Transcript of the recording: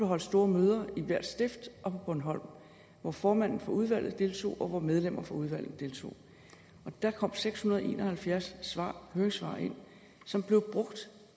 holdt store møder i hvert stift og på bornholm hvor formanden for udvalget deltog og hvor medlemmer fra udvalget deltog der kom seks hundrede og en og halvfjerds høringssvar ind som blev brugt